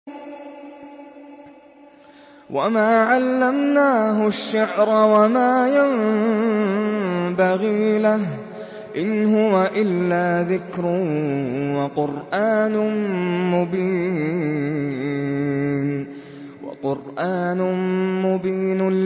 وَمَا عَلَّمْنَاهُ الشِّعْرَ وَمَا يَنبَغِي لَهُ ۚ إِنْ هُوَ إِلَّا ذِكْرٌ وَقُرْآنٌ مُّبِينٌ